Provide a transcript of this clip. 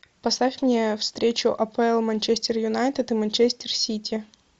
поставь мне встречу апл манчестер юнайтед и манчестер сити